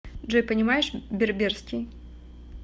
джой понимаешь берберский